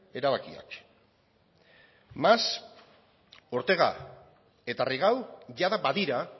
erabakiak mas ortega eta rigau jada badira